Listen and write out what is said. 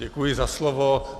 Děkuji za slovo.